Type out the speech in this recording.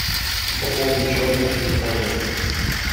пополнить счет на телефоне